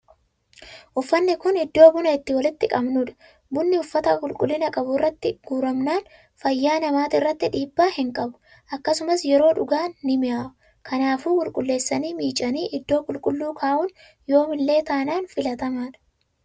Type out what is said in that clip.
Uffanni kun iddoo buna itti walitti qabnuudha. Bunni uffata qulqullina qabu irratti guramnaan fayyaa namaatirratti dhiibbaa hin qabu. Akkasumas yeroo dhugaan ni mi'aawa. Kanaafuu qulqulleessanii, miicanii, iddoo qulqulluun kaa'un yoomillee taanan filatamaadha.